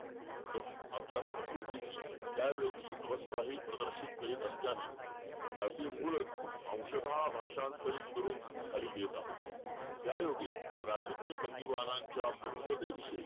आणि प्रत्येक कामात मला मदत ही करते.